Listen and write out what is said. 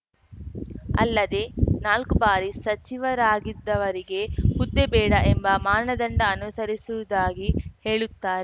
ಅಲ್ಲದೆ ನಾಲ್ಕು ಬಾರಿ ಸಚಿವರಾಗಿದ್ದವರಿಗೆ ಹುದ್ದೆ ಬೇಡ ಎಂಬ ಮಾನದಂಡ ಅನುಸರಿಸಿವುದಾಗಿ ಹೇಳುತ್ತಾ